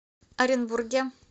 оренбурге